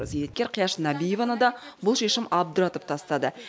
зейнеткер қияш нәбиеваны да бұл шешім абдыратып тастады